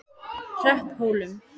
Hrepphólum